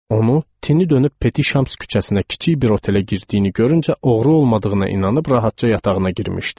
Onu tinidönüb Peti Şams küçəsinə kiçik bir otelə girdiyini görüncə oğru olmadığına inanıb rahatca yatağına girmişdi.